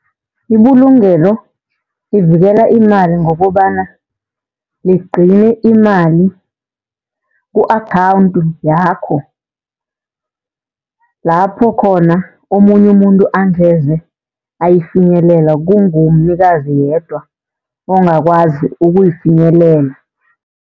Ibulungelo livikela imali ngokobana ligcine imali ku-akhawunthu yakho. Lapho khona omunye umuntu angeze ayifinyelela kungumnikazi yedwa ongakwazi ukuyifinyelela.